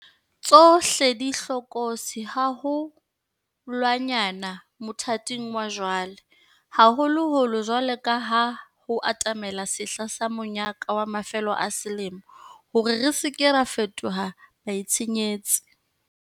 Tsohle di hlokolotsi haho lwanyane mothating wa jwale, haholoholo jwaloka ha ho atamela sehla sa monyaka wa mafelo a selemo, hore re se ke ra fetoha baitshenyetsi.